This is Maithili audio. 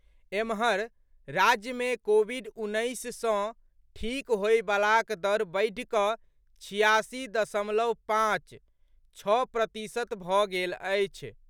एम्हर, राज्यमे कोविड उन्नैस सँ ठीक होबयवलाक दर बढ़ि कऽ छियासी दशमलव पाँच, छओ प्रतिशत भऽ गेल अछि।